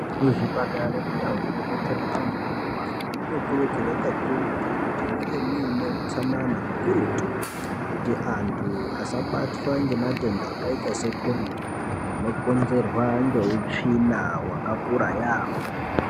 Muzvipatara nemundau munobetserwa anhu anorwara munokurudzirwa kakurutu kuti munge muine utsanana kakurutu kuti anhu asabatwa ngematenda akaita seCholera anokonzerwa neutsvina wakakura yaamho